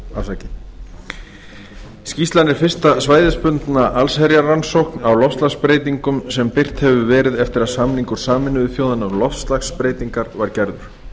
er acia skýrslan er fyrsta svæðisbundna allsherjarrannsókn á loftslagsbreytingum sem birt hefur verið eftir að samningur sameinuðu þjóðanna um loftslagsbreytingar var gerður